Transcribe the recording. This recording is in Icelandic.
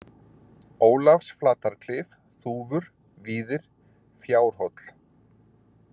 Ólafsflatarklif, Þúfur, Víðir, Fjárhóll